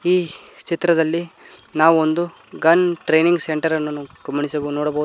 ಈ ಚಿತ್ರದಲ್ಲಿ ನಾವು ಒಂದು ಗನ್ ಟ್ರೇನಿಂಗ್ ಸೆಂಟರ್ ಅನ್ನು ಗಮನಿಸ ನೋಡಬೋ--